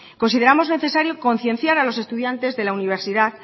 consideramos necesario concienciar a los estudiantes de la universidad